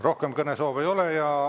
Rohkem kõnesoove ei ole.